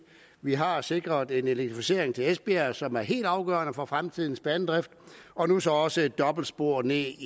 vi har sikret en elektrificering til esbjerg som er helt afgørende for fremtidens banedrift og nu så også et dobbeltspor ned